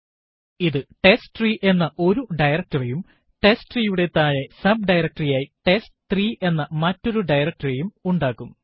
ഇത് ടെസ്റ്റ്രീ എന്ന ഒരു directory യും testtre യുടെ താഴെ sub ഡയറക്ടറി ആയി ടെസ്റ്റ്3 എന്ന മറ്റൊരു directory യും ഉണ്ടാക്കും